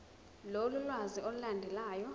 lolu lwazi olulandelayo